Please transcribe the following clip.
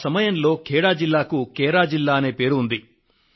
ఆ సమయంలో ఖేడా జిల్లాకు కైరా జిల్లా అనే పేరు ఉంది